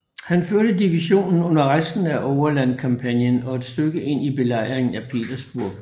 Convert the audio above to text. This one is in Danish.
Han førte divisionen under resten af Overland kampagnen og et stykke ind i Belejringen af Petersburg